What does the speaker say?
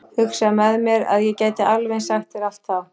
Hugsaði með mér að ég gæti alveg eins sagt þér allt þá.